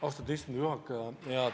Austatud istungi juhataja!